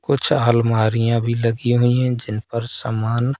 कुछ अलमारियां भी लगी हुई हैं जिन पर समान--